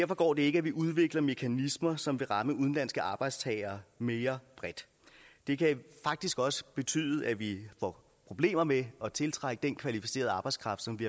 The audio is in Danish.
går det ikke at vi udvikler mekanismer som vil ramme udenlandske arbejdstagere mere bredt det kan faktisk også betyde at vi får problemer med at tiltrække den kvalificerede arbejdskraft som vi